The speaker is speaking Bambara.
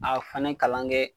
A fanɛ kalan kɛ